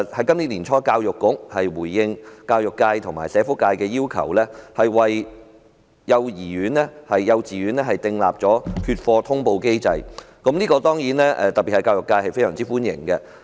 今年年初，教育局回應教育界和社福界的要求，為幼稚園訂立缺課通報機制，此舉當然受到社會各界歡迎，尤其教育界。